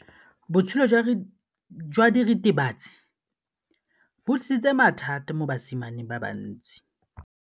Botshelo jwa diritibatsi ke bo tlisitse mathata mo basimaneng ba bantsi.